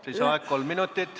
Lisaaeg kolm minutit.